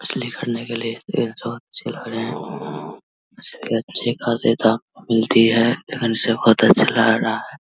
असली करने के लिए अच्छे लग रहे है इसलिए अच्छे खासे दाम मिलती है। बोहोत अच्छा लग रहा है।